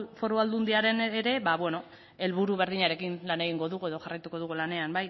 foru aldundian ere ba beno helburu berdinarekin lan egingo dugu edo jarraituko dugu lanean